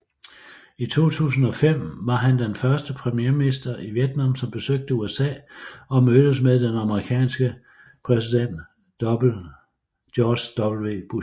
I 2005 var han den første premierminister i Vietnam som besøgte USA og mødtes med den amerikanske præsident George W